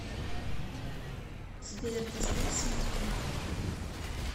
сбер поставь смоки